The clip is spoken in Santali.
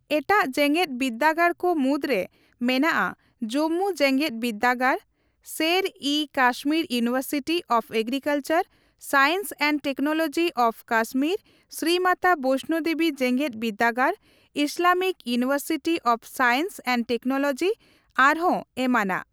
ᱮᱴᱟᱜ ᱡᱮᱜᱮᱫ ᱵᱤᱨᱫᱟᱹᱜᱟᱲ ᱠᱚ ᱢᱩᱫᱽᱨᱮ ᱢᱮᱱᱟᱜᱼᱟ ᱡᱚᱢᱢᱩ ᱡᱮᱜᱮᱫ ᱵᱤᱨᱫᱟᱹᱜᱟᱲ, Sher e Kashmir university of agricultural science and technology of Kashmir, Shri Mata Vaishno Devi ᱡᱮᱜᱮᱫ ᱵᱤᱨᱫᱟᱹᱜᱟᱲ, Islamic university of science and technology, ᱟᱨᱦᱚᱸ ᱮᱢᱟᱱᱟᱜ ᱾